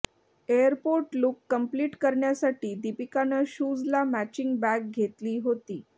airport look complete करण्यासाठी दीपिकानं शूजला मॅचिंग बॅग घेतली होती